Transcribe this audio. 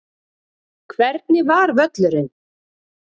Hvernig var völlurinn?